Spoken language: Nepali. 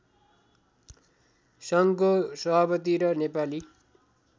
सङ्घको सभापति र नेपाली